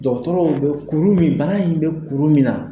Dɔgɔtɔrɔw be kuru min bana in be kuru min na